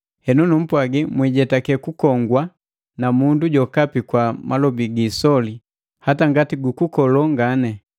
Henu numpwagi, mwijetake kunkongwa na mundu jokapi kwa malobi gisoli hata ngati gukukolo ngani.